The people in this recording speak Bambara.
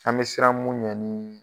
An be siran mun ɲɛ ni